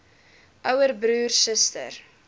ouer broer suster